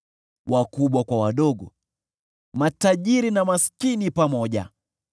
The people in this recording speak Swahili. Wakubwa kwa wadogo, matajiri na maskini pamoja: